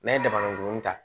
N'an ye dabali dugun ta